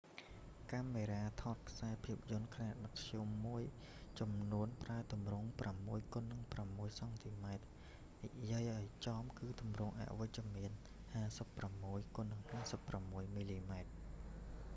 កាមេរ៉ាថតខ្សែភាពយន្តខ្នាតមធ្យមមួយចំនួនប្រើទម្រង់ 6x6 cm និយាយឱ្យចំគឺទម្រង់អវិជ្ជមាន 56x56 mm។